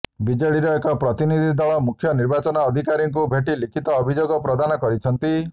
ବିଜେଡିର ଏକ ପ୍ରତିନିଧିଦଳ ମୁଖ୍ୟ ନିର୍ବାଚନ ଅଧିକାରୀଙ୍କୁ ଭେଟି ଲିଖିତ ଅଭିଯୋଗ ପ୍ରଦାନ କରିଛନ୍ତି